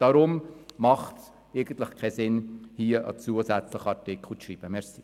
Deshalb hat es keinen Sinn, einen zusätzlichen Artikel ins Gesetz zu schreiben.